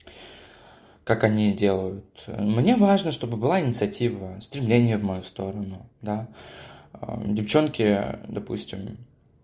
как они и делают мне важно чтобы была инициатива стремление в мою сторону да девчонки допустим